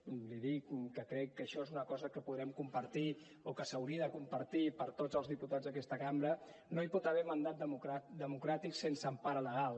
li dic perquè crec que això és una cosa que podrem compartir o que s’hauria de compartir per tots els diputats d’aquesta cambra no hi pot haver mandat democràtic sense empara legal